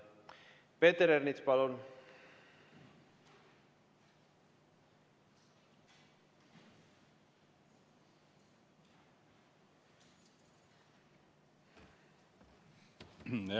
Peeter Ernits, palun!